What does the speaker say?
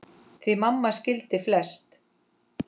Því mamma skildi flest.